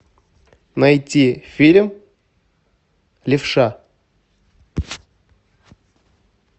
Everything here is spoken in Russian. найти фильм левша